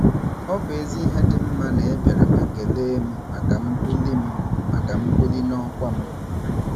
Ọ bụ ezi ihe dị mma na ị bịara ma kelee m maka mbuli m maka mbuli n'ọkwa m.